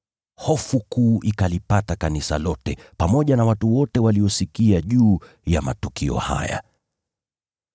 Hofu kuu ikalipata kanisa lote pamoja na watu wote waliosikia juu ya matukio haya.